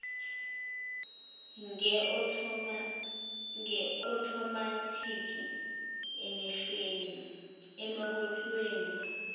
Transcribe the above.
nge othomathikhi emiholweni